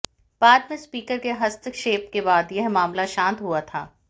बाद में स्पीकर के हस्तक्षेप के बाद यह मामला शान्त हुआ था